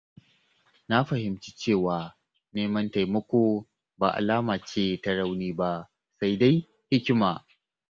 Na fahimci cewa neman taimako ba alama ce ta rauni ba, sai dai hikima.